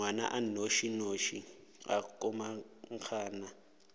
ngwana a nnošinoši wa komangkanna